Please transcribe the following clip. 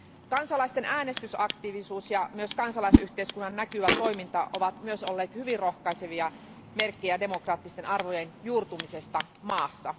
Kansalaisten äänestysaktiivisuus ja kansalaisyhteiskunnan näkyvä toiminta ovat myös olleet hyvin rohkaisevia merkkejä demokraattisten arvojen juurtumisesta maassa.